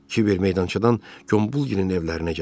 Kiver meydançadan Gombulgilin evlərinə gəldi.